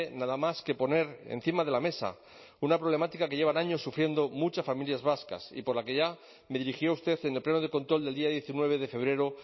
nada más que poner encima de la mesa una problemática que llevan años sufriendo muchas familias vascas y por la que ya me dirigí a usted en el pleno de control del día diecinueve de febrero